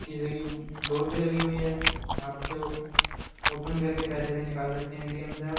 शीशे की डोर भी लगी हुई है। आप इसे ओपन कर के पैसे भी निकाल सकते हैं एटीएम से आप।